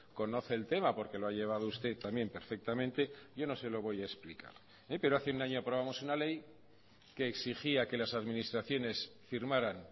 conoce el tema porque lo ha llevado usted también perfectamente yo no se lo voy a explicar pero hace un año aprobamos una ley que exigía que las administraciones firmaran